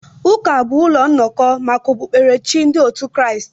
Ụka bụ ụlọ nnọkọ maka okpukpere chi ndị otu Kraịst.